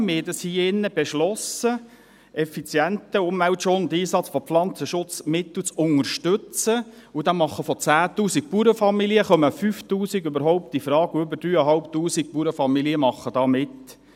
Wir haben hier in diesem Saal beschlossen, effizienten Umweltschutz und Einsatz von Pflanzenschutzmitteln zu unterstützen, und da kommen von 10 000 Bauernfamilien 5000 überhaupt infrage, und über 3500 Bauernfamilien machen da mit.